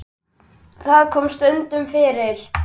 Það kom stundum fyrir.